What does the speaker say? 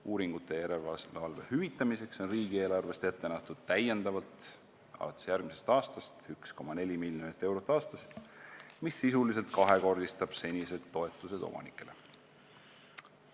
Uuringute ja järelevalve hüvitamiseks on riigieelarvest alates järgmisest aastast täiendavalt ette nähtud 1,4 miljonit eurot aastas, mis sisuliselt kahekordistab senised toetused omanikele.